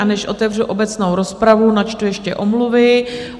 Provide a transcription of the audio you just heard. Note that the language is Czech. A než otevřu obecnou rozpravu, načtu ještě omluvy.